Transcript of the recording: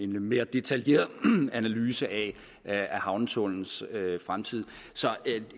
mere detaljeret analyse af havnetunnelens fremtid så